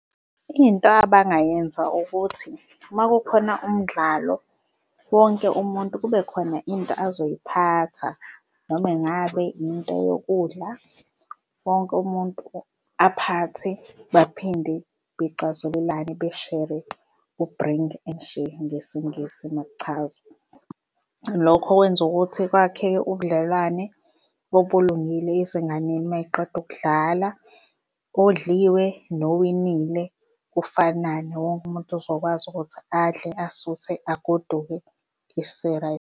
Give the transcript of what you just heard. Into abangayenza ukuthi uma kukhona umdlalo, wonke umuntu kube khona into azoyiphatha noma ingabe into yokudla wonke umuntu aphathe baphinde becazulelane beshere u-bring and share ngesiNgisi makuchazwa. Lokho kwenza ukuthi kwakheke ubudlelwane obulungile ezinganeni uma y'qeda ukudlala odliwe nowinile kufanane wonke umuntu uzokwazi ukuthi adle asuthe agoduke .